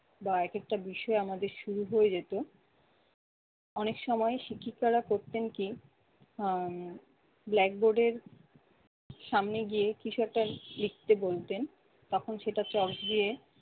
বা এক একটা বিষয় আমাদের শুরু হয়ে যেত। অনেক সময় শিক্ষিকারা করতেন কি আহ blackboard এর সামনে গিয়ে কিছু একটা লিখতে বলতেন। তখন সেটা চক দিয়ে